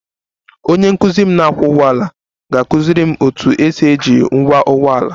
Onye nkuzi m na-akwọ ụgbọala ga-akụziri m otu esi eji ngwa ụgbọ ala